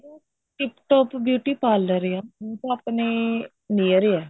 tip top beauty parlor ਐ ਉਹ ਤਾਂ ਆਪਣੇ near ਐ